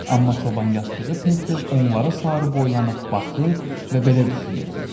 Amma çoban yastığı tez-tez onlara sarı boylanıb baxır və belə düşünürdü.